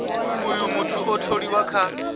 uh muthu a tholiwe kha